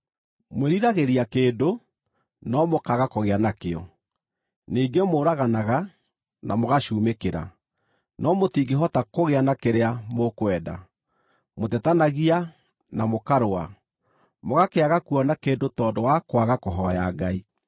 Mwĩriragĩria kĩndũ no mũkaaga kũgĩa nakĩo. Ningĩ mũũraganaga na mũgacumĩkĩra, no mũtingĩhota kũgĩa na kĩrĩa mũkwenda. Mũtetanagia na mũkarũa. Mũgakĩaga kuona kĩndũ tondũ wa kwaga kũhooya Ngai.